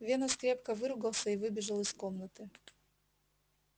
венус крепко выругался и выбежал из комнаты